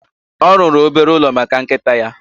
Ọ rụrụ obere ụlọ maka nkịta ya